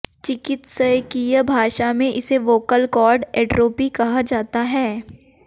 चिकित्सकीय भाषा में इसे वोकल काॅर्ड एट्रोपि कहा जाता है